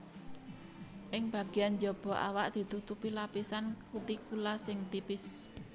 Ing bagéyan jaba awak ditutupi lapisan kutikula sing tipis